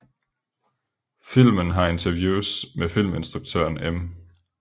Filmen har interviews med filminstruktøren M